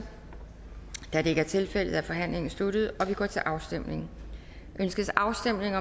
da det ikke er tilfældet er forhandlingen sluttet og vi går til afstemning afstemning